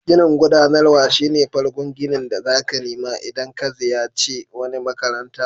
Ginin gudanarwa shine farkon ginin da zaka nima idan ka ziyace wani makaranta.